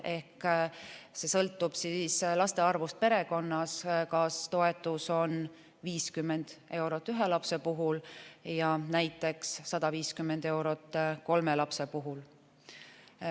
Ehk see sõltub laste arvust perekonnas, näiteks 50 eurot on toetus ühe lapse puhul ja 150 eurot kolme lapse puhul.